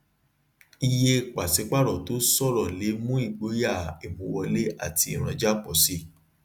iye pàṣípààrọ tó ṣòro le mu igboya ìmúwọle àti ìrànja pọ sii